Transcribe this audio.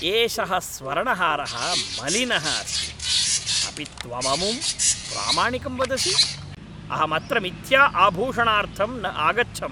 एषः स्वर्णहारः मलिनः अस्ति, अपि त्वममुं प्रामाणिकं वदसि? अहं अत्र मिथ्या आभूषणार्थं न आगच्छम्!